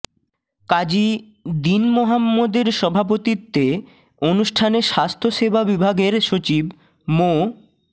কাজী দীন মোহাম্মদের সভাপতিত্বে অনুষ্ঠানে স্বাস্থ্যসেবা বিভাগের সচিব মো